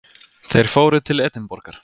Þeir fóru til Edinborgar.